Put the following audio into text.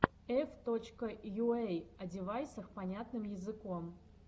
эф точка йуэй о девайсах понятным языком